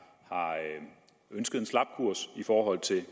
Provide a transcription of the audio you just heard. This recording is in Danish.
har ønsket en slap kurs i forhold til